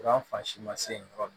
Kuran fan si ma se yen yɔrɔ min